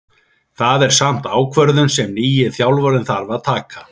Það er samt ákvörðun sem nýi þjálfarinn þarf að taka.